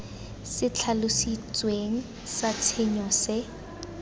se tlhalositsweng sa tshenyo se